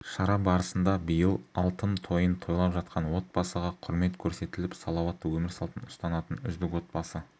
шара барысында биыл алтын тойын тойлап жатқан отбасыға құрмет көрсетіліп салауатты өмір салтын ұстанатын үздік отбасы